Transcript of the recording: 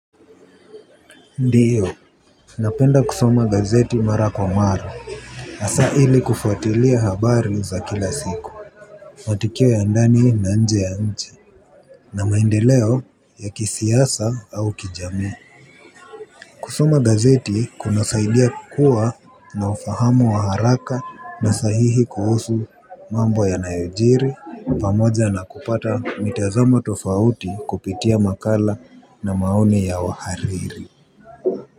Ndiyo, napenda kusuoa gazeti mara kwa mara, hasa ili kufuatilia habari za kila siku. Matukio ya ndani na nje ya nchi, na maendeleo ya kisiasa au kijamii. Kusoma gazeti kunasaidia kuwa na ufahamu wa haraka na sahihi kuhusu mambo yanayojiri, pamoja na kupata mitazamo tofauti kupitia makala na maoni ya wahariri.